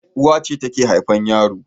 Uwa ce take haifar yaro